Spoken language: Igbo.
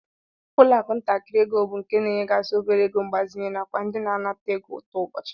Ụlọakụ ntakịrị ego bụ nke na-enyegasị obere ego mgbazinye nakwa ndị na-anata ego ụtụ ụbọchị